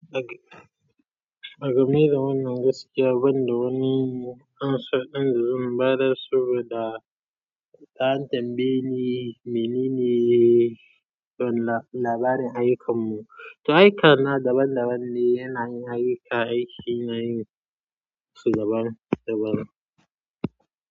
Mage-magemi da wannan gaskiya, banda wani an san ɗan dazun bada su da ta'addan bene menene labarin ayyukansu? To ayyukan na daban-daban ne, yana yin ayyuka, yana yi su daban-daban.